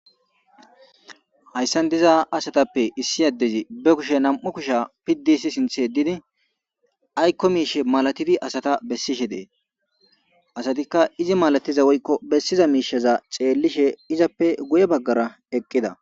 Hayssan diiza asatappe issi adezi be kushshe nam'u kushshe piidi hissti sinththe yeddidi aykko mishshe mallatidi asa bessishe dess asatika iizi malatiza woykko bessiza mishshaza xellishe izzappe guye baggara eqqida.